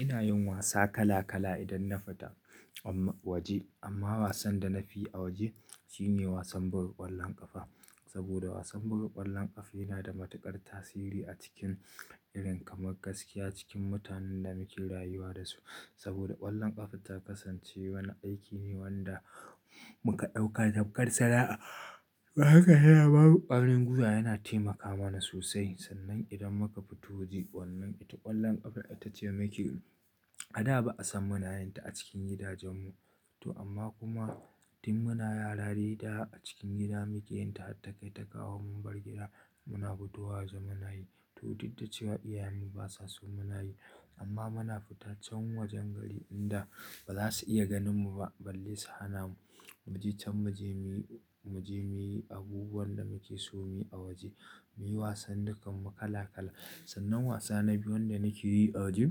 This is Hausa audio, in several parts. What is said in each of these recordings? Ina yin wasa kala kala idan na fita waje amma wasan da na fiyi a waje shine wasan buga ƙwallon ƙafa saboda wasan buga ƙwallon ƙafa yana da matuƙar tasiri a cikin irin kamar gaskiya cikin mutanen da muke rayuwa dasu. Saboda ƙwallon ƙafa ta kasance wani aiki ne wanda muka ɗauka tamkar sana'a. Haka yana, babu ƙwaringwiwa yana taimaka mana sosai sannan idan muka fito waje ƙwallon ita ƙwallon ƙafa ita ce maki. A da ba'a san munayinta a cikin gidajen mu to amma kuma tin muna yarare da a cikin gida muke yinta ta kai ta kawo mun bar gida muna fitowa waje muna yi to duk da cewa iyayen mu ba sa so muna yi amma muna fita can wajen gari inda ba za su iya ganin mu ba balle su hana mu. Mu je can mu je muyi abubuwan da muke so mu yi a waje mu yi wasan dukan mu kala kala. Sannan wasa na biyu wanda nake yi a waje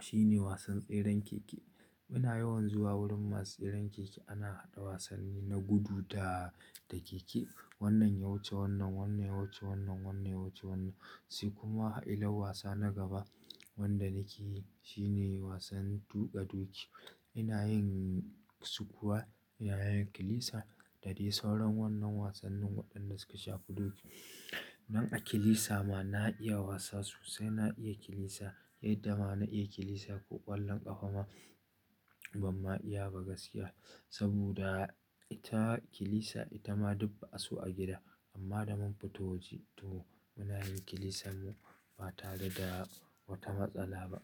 shine wasan tseren keke. Muna yawan zuwa wurin masu tseren keke ana haɗa wasanni na gudu da da keke wannan ya wuce wannan wannan ya wuce wannan wannan ya wuce wannan. Sai kuma illar wasa na gaba wanda nake yi shine wasan tuƙa doki. Ina yin sukuwa, ina yin kilisa da dai sauran wannan wasannin waɗanda suka shafi doki. Nan a kilisa ma na iya wasa sosai na iya kilisa yadda ma na iya kilisa ko ƙwallon ƙafa ma ban ma iya ba gaskiya saboda ita kilisa ita ma duk ba'aso a gida amma da mun fito waje to muna yin kilisan mu ba tare da wata matsala ba.